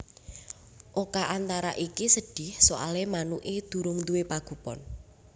Oka Antara iki sedih soale manuke durung duwe pagupon